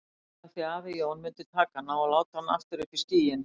Af því að afi Jón myndi taka hana og láta hana aftur upp í skýin.